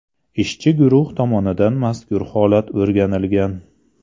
Ishchi guruh tomonidan mazkur holat o‘rganilgan.